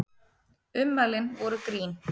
Ummælin voru grín